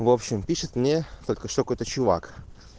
в общем пишет мне только что какой то чувак